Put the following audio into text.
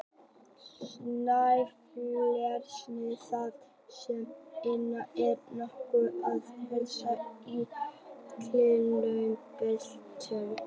Snæfellsnesi þar sem eldvirkni er nokkuð annars eðlis en í gliðnunarbeltunum.